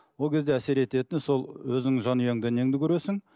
ол кезде әсер ететін сол өзіңнің жанұяңда неңді көресің